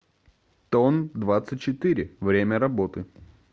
тондвадцатьчетыре время работы